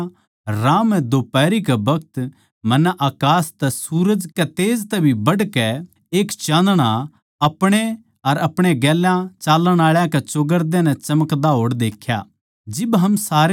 तो हे राजा राह म्ह दोफारी कै बखत मन्नै अकास तै सूरज कै तेज तै भी बढ़कै एक चाँदणा अपणे अर अपणे गेल्या चाल्लण आळा कै चौगरदे नै चमकदा होड़ देख्या